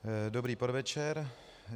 Dobrý podvečer.